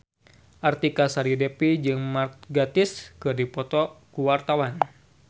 Artika Sari Devi jeung Mark Gatiss keur dipoto ku wartawan